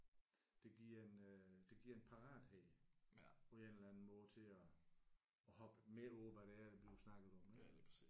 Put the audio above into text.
Det giver en øh det giver en parathed på en eller anden måde til at at hoppe med på hvad det er der bliver snakket om ik